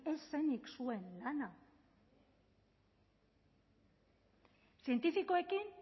ez zen zuen lana zientifikoekin